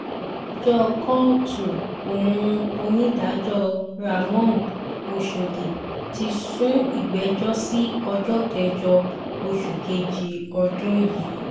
adájọ́ kóòtù ohun onídàájọ́ ramón ọ̀shọ́dì ti sún ìgbẹ́jọ́ sí ọjọ́ kẹjọ oṣù kejì ọdún yìí